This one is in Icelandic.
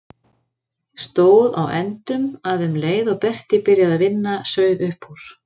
Stóð á endum að um leið og Berti byrjaði að vinna sauð upp úr.